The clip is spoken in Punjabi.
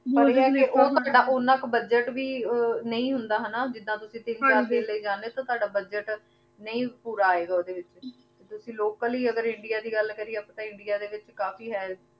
ਊ ਜੇਰਾ ਓਨਾਂ ਕੋ ਬੁਦ੍ਗੇਤ ਵੀ ਨਾਈ ਹੁੰਦਾ ਜਿਦਾਂ ਤੁਸੀਂ ਤੀਨ ਚਾਰ ਦਿਨ ਲੈ ਜਾਨੀ ਤੇ ਤਾਦਾ ਬੁਦ੍ਗੇਤ ਨਾਈ ਪੋਰ ਆਯ ਗਾ ਓਡੀ ਵਿਚ ਤੇ ਤੁਸੀਂ ਲੋਕਲ ਈ ਅਗਰ ਇੰਡੀਆ ਦੀ ਗਲ ਕਰਿਯਾ ਆਪਾਂ ਇੰਡੀਆ ਦੇ ਵਿਚ ਕਾਫੀ ਹੈ